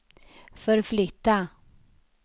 förflytta